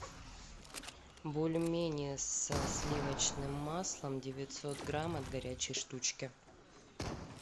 бульмени со сливочным маслом девятьсот грамм от горячей штучки